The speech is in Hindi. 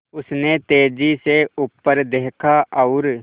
उसने तेज़ी से ऊपर देखा और